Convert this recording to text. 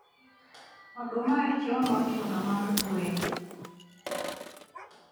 Oduma ema chiemo mochuno mar gwen